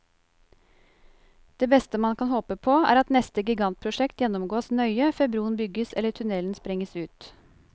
Det beste man kan håpe på, er at neste gigantprosjekt gjennomgås nøye før broen bygges eller tunnelen sprenges ut.